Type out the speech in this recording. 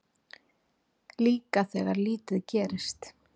Líka þegar lítið gerist.